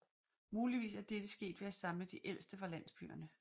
Muligvis er dette sket ved at samle de ældste fra landsbyerne